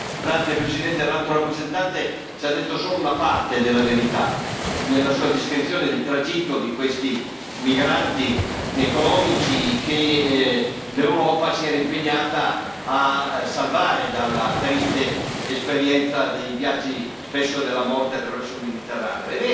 Signora Presidente, onorevoli colleghi, l'Alto rappresentante ci ha detto solo una parte della verità nella sua descrizione del tragitto di questi migranti economici che l'Europa si era impegnata a salvare dalla triste esperienza dei viaggi, spesso, della morte attraverso il Mediterraneo.